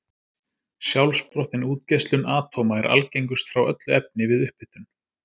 Sjálfsprottin útgeislun atóma er algengust frá öllu efni við upphitun.